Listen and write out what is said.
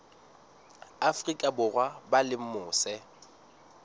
afrika borwa ba leng mose